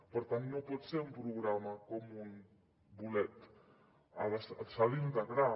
per tant no pot ser un programa com un bolet s’ha d’integrar